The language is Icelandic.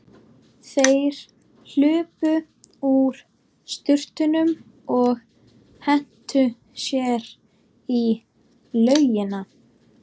Þeir hlupu úr sturtunum og hentu sér út í laugina.